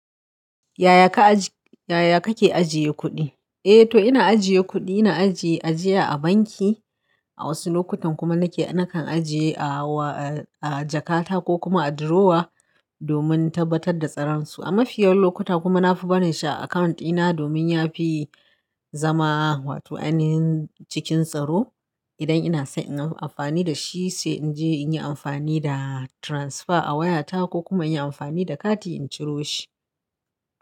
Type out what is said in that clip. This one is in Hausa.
Yaya ka ajiye, yaya kake ajiye kuɗi? Eh to ina ajiye kuɗi, ina ajiye ajiya a banki, a wasu lokutan kuma nake nakan ajiye a wa a jakata ko kuma a drawer domin tabbatar da tsaransu. A mafiyan lokuta kuma na fi barin shi account dina domin yafi zama wato ainihin cikin tsaro. Idan ina so in yi amfani da shi sai in je in yi amfani da transfer a wayata ko kuma in yi amfani da kati in ciro shi.